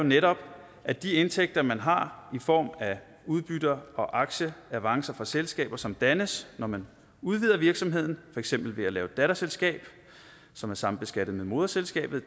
netop at de indtægter man har i form af udbytter og aktieavancer fra selskaber som dannes når man udvider virksomheden for eksempel ved at lave et datterselskab som er sambeskattet med moderselskabet